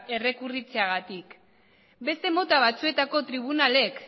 errekurritzeagatik beste mota batzuetako tribunalek